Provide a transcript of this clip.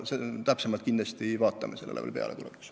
Täpsemalt analüüsime seda kindlasti tulevikus.